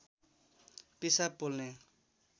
पिसाब पोल्ने